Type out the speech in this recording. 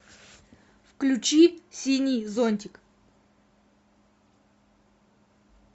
включи синий зонтик